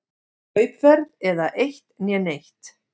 Kaupverð eða eitt né neitt.